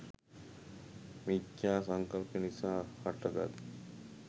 මිච්ඡා සංකල්පය නිසා හටගත්